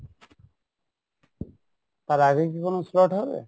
তার আগে কি কোনো slot হবে?